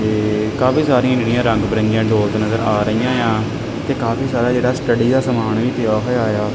ਤੇ ਕਾਫੀ ਸਾਰੀਆਂ ਜਿਹੜੀਆਂ ਰੰਗ ਬਿਰੰਗੀਆਂ ਡੋਟ ਨਜ਼ਰ ਆ ਰਹੀਆਂ ਆ ਤੇ ਕਾਫੀ ਸਾਰਾ ਜਿਹੜਾ ਸਟਡੀ ਦਾ ਸਮਾਨ ਵੀ ਪਿਆ ਹੋਇਆ ਆ।